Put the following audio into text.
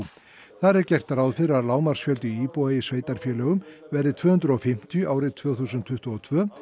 þar er gert ráð fyrir að lágmarksfjöldi íbúa í sveitarfélögum verði tvö hundruð og fimmtíu árið tvö þúsund tuttugu og tvö